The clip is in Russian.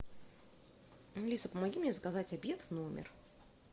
алиса помоги мне заказать обед в номер